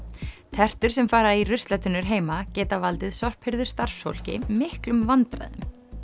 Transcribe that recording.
tertur sem fara í ruslatunnur heima geta valdið miklum vandræðum